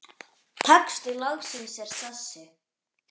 Texti lagsins er þessi